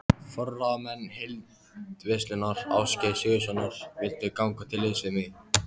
Forráðamenn Heildverslunar Ásgeirs Sigurðssonar vildu ganga til liðs við mig.